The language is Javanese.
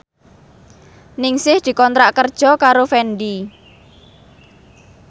Ningsih dikontrak kerja karo Fendi